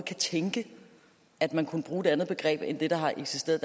tænke at man kunne bruge et andet begreb end det der har eksisteret